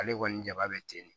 Ale kɔni jaba bɛ ten de